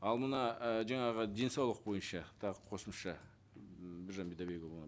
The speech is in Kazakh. ал мына і жаңағы денсаулық бойынша тағы қосымша м біржан бидайбекұлына